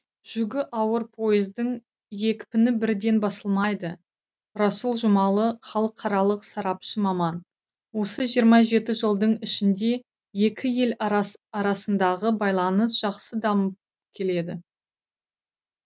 жүгі ауыр пойыздың екпіні бірден басылмайды расул жұмаұлы халықаралық сарапшы маман осы жиырма жеті жылдың ішінде екі ел арасындағы байланыс жақсы дамып келеді